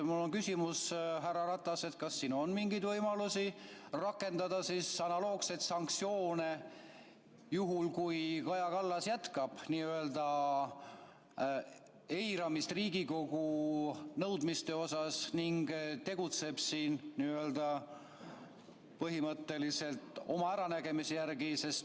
Mul on küsimus, härra Ratas: kas on mingeid võimalusi rakendada analoogseid sanktsioone, juhul kui Kaja Kallas jätkab Riigikogu nõudmiste eiramist ning tegutseb põhimõtteliselt oma äranägemise järgi?